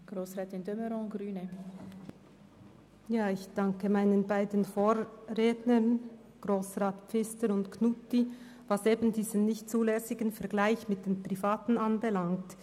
Ich danke meinen beiden Vorrednern, den Grossräten Pfister und Knutti, für ihre Aussagen betreffend den unzulässigen Vergleich mit den Privatbetrieben.